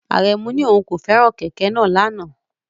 Aremu ní òun kò fẹ́ràn kẹ̀kẹ́ náà lánàá.